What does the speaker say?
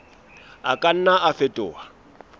a ka nna a fetoha